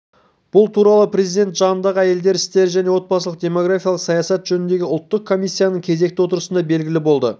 бұл туралы президент жанындағы әйелдер істері және отбасылық-демографиялық саясат жөніндегі ұлттық комиссияның кезекті отырысында белгілі болды